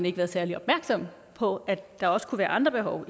ikke været særlig opmærksom på at der også kunne være andre behov